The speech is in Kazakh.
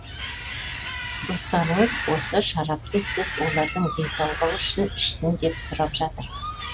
достарыңыз осы шарапты сіз олардың денсаулығы үшін ішсін деп сұрап жатыр